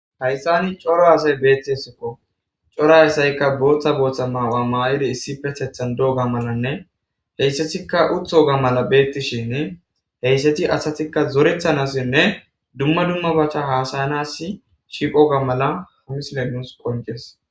Hayssan cora asay beettesikko cora asaykka boththa boththa mayo mayidi issippeteththan be wogga malanne hessattikka hesstti uuttogga mala bettishin hessati asati zoretanasinne dumma dummabatta hasayanassi shiqogga mala misiley nuus qonccises